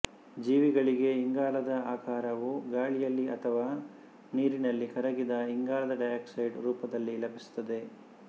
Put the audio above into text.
ಜೀವಿಗಳಿಗೆ ಇಂಗಾಲದ ಆಕರವು ಗಾಳಿಯಲ್ಲಿ ಅಥವಾ ನೀರಿನಲ್ಲಿ ಕರಗಿದ ಇಂಗಾಲದ ಡೈ ಆಕ್ಸೈಡ್ ರೂಪದಲ್ಲಿ ಲಭಿಸುತ್ತದೆ